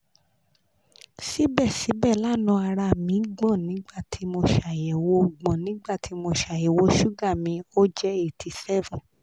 Síbẹ̀síbẹ̀, lánàá, ara mi gbọ̀n nígbàtí mo ṣàyẹ̀wò gbọ̀n nígbàtí mo ṣàyẹ̀wò súgà mi o jẹ eighty seven